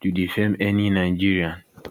to defame any nigerian